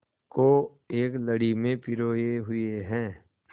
को एक लड़ी में पिरोए हुए हैं